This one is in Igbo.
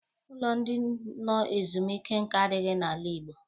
Ụlọ ndị nọ ezumike nka adịghị n'ala Igbo.